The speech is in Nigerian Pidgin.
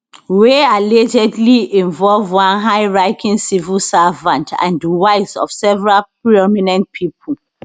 wey allegedly involve one highranking civil servant and di wives of several prominent pipo